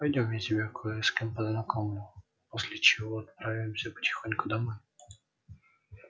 пойдём я тебя кое с кем познакомлю после чего отправимся потихоньку домой